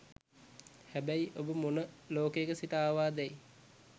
හැබැයි ඔබ මොන ලෝකයක සිට ආවාදැයි